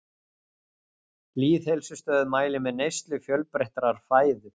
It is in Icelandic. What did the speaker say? Lýðheilsustöð mælir með neyslu fjölbreyttrar fæðu.